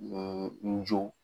n joo.